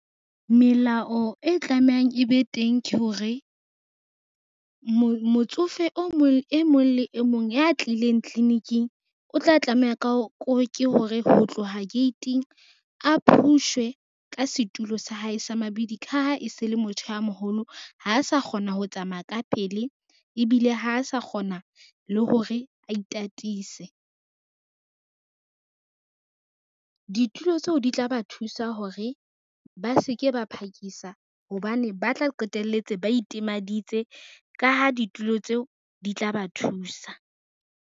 Melao e tlameang e be teng ke hore, motsofe e mong le e mong ya tlileng tliliniking, o tla tlameha ke hore ho tloha gate-ng a phushwe ka setulo sa hae sa mabidi ka ha e se le motho a moholo, ha sa kgona ho tsamaya ka pele ebile ha sa kgona le hore a itatise. Ditulo tseo di tla ba thusa hore ba se ke ba phakisa hobane ba tla qetelletse ba itimaditse ka ha ditulo tseo di tla ba thusa.